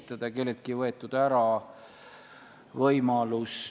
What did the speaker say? Mul on kahju, kui sulle selline mulje jäi, aga mina ei tajunud kuidagi mingit keeldu edasiseks aruteluks.